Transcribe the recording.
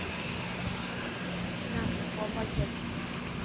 ના ના કોમર્સ જ લેવાનું છે.